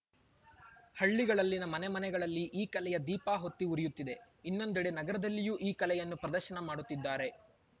ಹಳ್ಳಿಗಳಲ್ಲಿನ ಮನೆ ಮನೆಗಳಲ್ಲಿ ಈ ಕಲೆಯ ದೀಪ ಹೊತ್ತಿ ಉರಿಯುತ್ತಿದೆ ಇನ್ನೊಂದೆಡೆ ನಗರದಲ್ಲಿಯೂ ಈ ಕಲೆಯನ್ನು ಪ್ರದರ್ಶನ ಮಾಡುತ್ತಿದ್ದಾರೆ